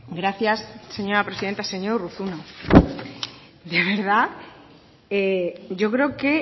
gracias señora presidenta señor urruzuno de verdad yo creo que